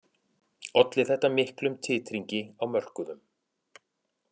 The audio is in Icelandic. Olli þetta miklum titringi á mörkuðum